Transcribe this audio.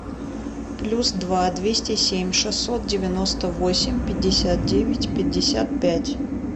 плюс два двести семь шестьсот девяносто восемь пятьдесят девять пятьдесят пять